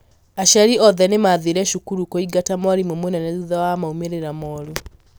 Aciari othe nĩ maathire cukuru kũingata mwarimũ mũnene thutha wa maũmĩrĩra moru